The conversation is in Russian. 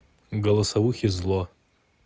голосовухи зло